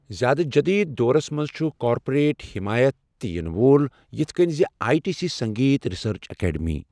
زِیٛادٕ جٔدیٖد دورَس منٛز چھُ کارپوریٹ حٮ۪مایت تہِ یِنہٕ وول، یِتھ کٔنۍ زِ I T C Sangeet research academy.